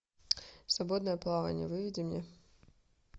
свободное плавание выведи мне